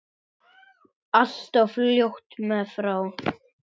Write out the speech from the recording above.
Allt of fljótt mér frá.